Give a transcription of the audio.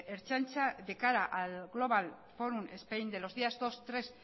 ertzaintza de cara al global forum spain de los días dos tres